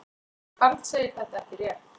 Karl segir þetta ekki rétt.